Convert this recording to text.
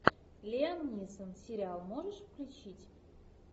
лиам нисон сериал можешь включить